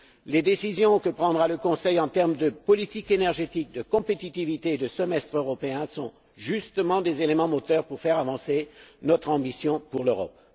Les décisions que prendra le Conseil sur la politique énergétique, la compétitivité et le semestre européen sont justement des éléments moteurs pour faire avancer notre ambition pour l'Europe.